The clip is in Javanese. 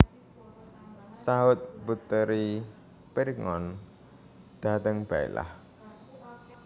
Sahut puteri Pirngon dateng Baiklah